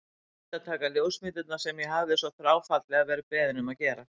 Gleymdi að taka ljósmyndirnar sem ég hafði svo þráfaldlega verið beðinn um að gera.